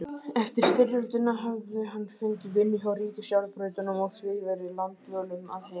Eftir styrjöldina hafði hann fengið vinnu hjá ríkisjárnbrautunum og því verið langdvölum að heiman.